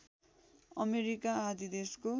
America आदि देशको